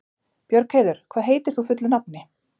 Björgheiður, hvað heitir þú fullu nafni?